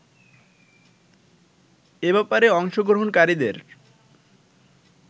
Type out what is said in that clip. এ ব্যাপারে অংশগ্রহণকারীদের